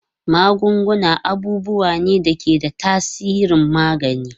Magunguna abubuwa ne da ke da tasirin magani.